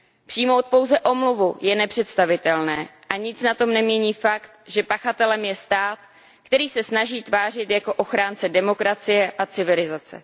Přijmout pouze omluvu je nepředstavitelné a nic na tom nemění fakt, že pachatelem je stát, který se snaží tvářit jako ochránce demokracie a civilizace.